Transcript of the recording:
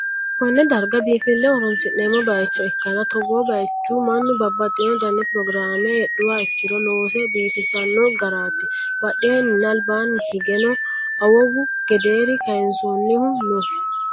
Konne darga biinfilleho horonsi'neemmo bayicho ikkanna, togoo bayicho mannu bababxxino dani pirogiraame heedhuha ikkiro loose biifisanno garaati, badheenninna albaanni higeno awawu gedeere kayiinsoonnihu no.